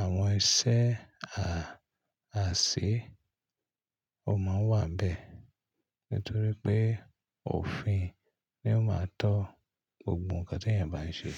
àwọn iṣẹ́ a à ṣe o máa wà n bẹ́ẹ̀ nítorí pé òfin ni ó máa ń tọ́ gbogbo ǹkan tí ènìyàn bá ń ṣe.